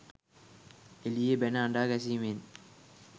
එළියේ බැන අඬා ගැසීමෙන්